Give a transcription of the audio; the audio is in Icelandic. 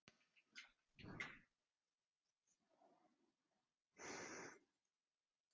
þeir eru því mjög virkir og finnast ekki óbundnir í náttúrunni